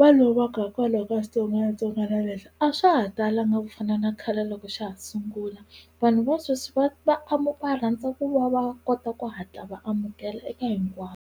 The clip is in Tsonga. va lovaka hikwalaho ka xitsongwatsongwana lexi a swa ha talanga ku fana na khale loko xa ha sungula vanhu va sweswi va va va rhandza ku va va kota ku hatla va amukela eka hinkwavo.